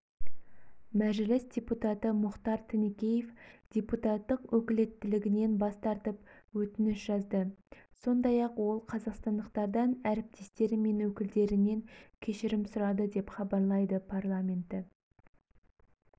мәжіліс депутаты мұхтар тінікеев депутаттық өкілеттілігінен бас тартып өтініш жазды сондай-ақ ол қазақстандықтардан әріптестері мен өкілдерінен кешірім сұрады деп хабарлайды парламенті